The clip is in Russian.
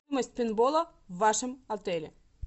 стоимость пейнтбола в вашем отеле